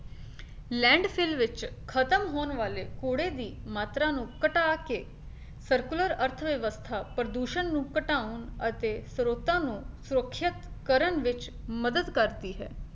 land seal ਵਿੱਚ ਖਤਮ ਹੋਣ ਵਾਲੇ ਕੂੜੇ ਦੀ ਮਾਤਰਾ ਨੂੰ ਘਟਾ ਕੇ circular ਅਰਥ ਵਿਵਸਥਾ ਪ੍ਰਦੂਸ਼ਣ ਨੂੰ ਘਟਾਉਣ ਅਤੇ ਸਰੋਤਾਂ ਨੂੰ ਸੁਰੱਖਿਅਤ ਕਰਨ ਵਿੱਚ ਮੱਦਦ ਕਰਦੀ ਹੈ।